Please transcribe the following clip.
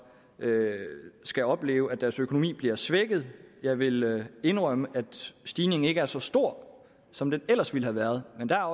skal opleve at deres økonomi bliver svækket jeg vil indrømme at stigningen ikke er så stor som den ellers ville have været men der